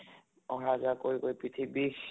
আহা যোৱা কৰি কৰি পিঠি বিষ ।